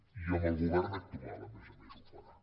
i amb el govern actual a més a més ho farà